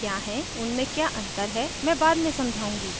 उनमें क्या अंतर हैं मैं बाद में समझाऊंगी;